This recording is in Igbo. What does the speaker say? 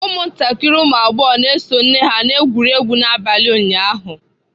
Ụmụntakịrị ụmụ agbọghọ nọ nso nne ha na-egwuri egwu n'abalị ụnyaahụ.